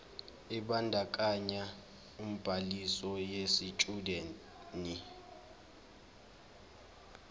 ebandakanya ubhaliso yesitshudeni